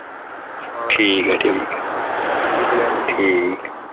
England ਚ